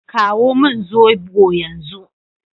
Kawo min zobo yanzu.